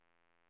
station